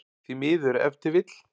Því miður ef til vill?